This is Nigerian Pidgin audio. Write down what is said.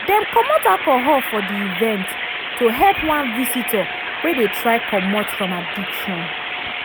dem comot alcohol for the event to help one visitor wey dey try comot from addiction.